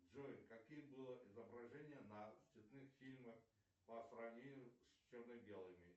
джой каким было изображение на цветных фильмах по сравнению с черно белыми